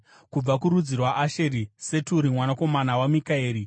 kubva kurudzi rwaAsheri, Seturi mwanakomana waMikaeri;